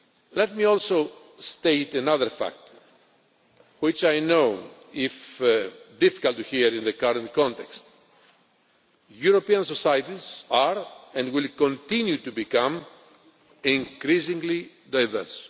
Let me also state another fact, which I know is difficult to hear in the current context European societies are and will continue to become increasingly diverse.